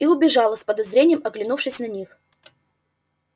и убежала с подозрением оглянувшись на них